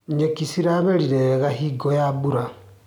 Nyeki ciramerire wega hingo ya mbura.